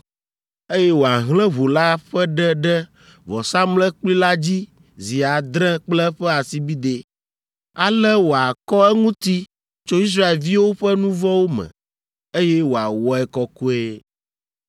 eye wòahlẽ ʋu la ƒe ɖe ɖe vɔsamlekpui la dzi zi adre kple eƒe asibidɛ. Ale wòakɔ eŋuti tso Israelviwo ƒe nu vɔ̃wo me, eye wòawɔe kɔkɔe.